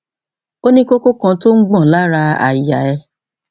ó ní kókó kan tó ń gbọn lára àyà rẹ